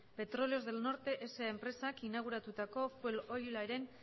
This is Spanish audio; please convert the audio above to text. petróleos del norte sa enpresak inauguratutako fuelolioaren